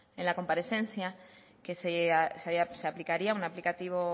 en la comparecencia que se aplicaría un aplicativo